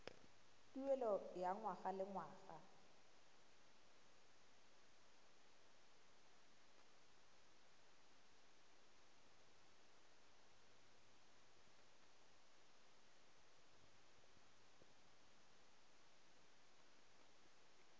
tuelo ya ngwaga le ngwaga